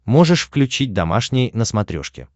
можешь включить домашний на смотрешке